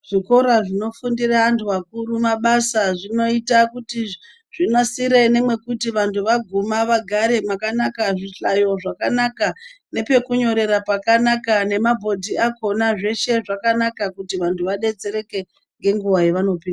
Zvikora zvinofundira vanhu vakuru mabasa zvinonasira nemekuti vanhu vaguma vagare makanaka zvihlayo zvakanaka nepekunyorera pakanaka nemabhodhi akona zveshe zvakanaka kuti vanhu vadetsereke nenguva yawanopihwa.